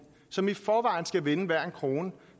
som i forvejen skal vende hver en krone